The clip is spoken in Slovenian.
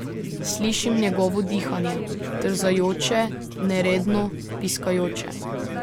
Slišim njegovo dihanje, trzajoče, neredno, piskajoče.